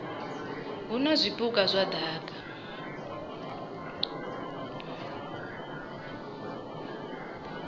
hu na zwipuka zwa daka